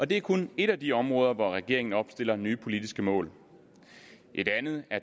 det er kun et af de områder hvor regeringen opstiller nye politiske mål et andet er